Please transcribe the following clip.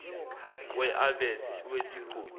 we abet wesigodi